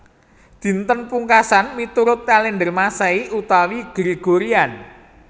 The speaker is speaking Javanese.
Dinten Pungkasan miturut kalèndher Masehi utawi Gregorian